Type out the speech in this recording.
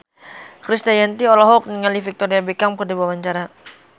Krisdayanti olohok ningali Victoria Beckham keur diwawancara